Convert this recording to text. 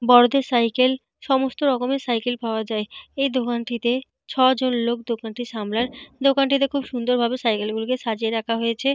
বড়োদের সাইকেল সমস্ত রকমের সাইকেল পাওয়া যায়। এই দোকানটিতে ছয় জন লোক দোকানটি সামলায়। দোকানটিতে খুব সুন্দরভাবে সাইকেল গুলিকে সাজিয়ে রাখা হয়েছে।